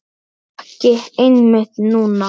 Ekki einmitt núna.